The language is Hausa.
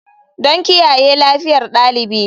Don kiyaye lafiyar ɗalibi.